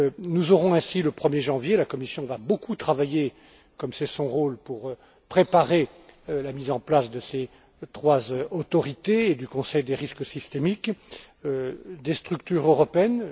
Nous aurons ainsi, le 1er janvier la Commission va beaucoup travailler, comme c'est son rôle, pour préparer la mise en place de ces trois autorités et du conseil des risques systémiques des structures européennes.